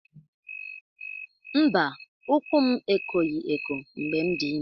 Mba, ukwu m ekoghị eko mgbe m dị ime.